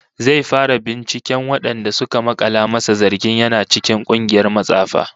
Zai fara binciken wadanda suka makala masa zargin yana cikin kungiyar matsafa